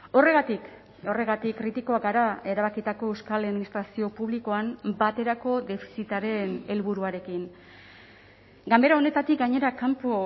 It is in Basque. horregatik horregatik kritikoak gara erabakitako euskal administrazio publikoan baterako defizitaren helburuarekin ganbera honetatik gainera kanpo